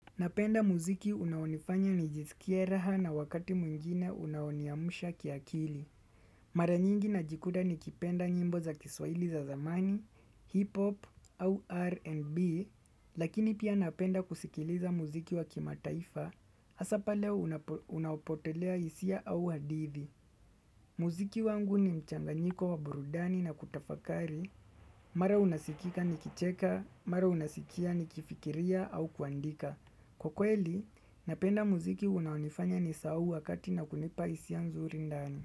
Napenda muziki unaonifanya nijisikie raha na wakati mwingine unaoniamsha kiakili. Mara nyingi najikuta nikipenda nyimbo za kiswahili za zamani, hip-hop au R&B, lakini pia napenda kusikiliza muziki wa kimataifa, hasa pale unaopotelea hisia au hadithi. Muziki wangu ni mchanganyiko wa burudani na kutafakari, mara unasikika ni kicheka, mara unasikia ni kifikiria au kuandika. Kwa kweli, napenda muziki unaonifanya ni sahau wakati na kunipa hisia nzuri ndani.